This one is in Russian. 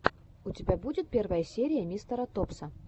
у тебя будет первая серия мистера топса